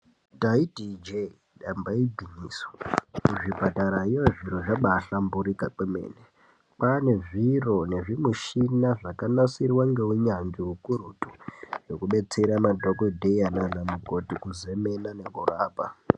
Ndaiti ijee damba igwinyiso kuzvipatarao zviro zvabaahlamburika kwemene kwaane zviro nezvimishina zvakanasirwa ngeunyanzvi ukurutu zvekudetsera madhokodheya nanamukoti kuzemena nekurapa.